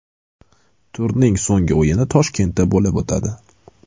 Turning so‘nggi o‘yini Toshkentda bo‘lib o‘tadi.